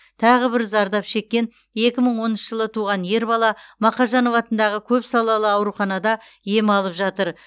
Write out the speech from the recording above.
тағы бір зардап шеккен екі мың оныншы жылы туған ер бала мақажанов атындағы көпсалалы ауруханада ем алып жатыр